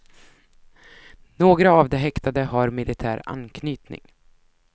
Några av de häktade har militär anknytning.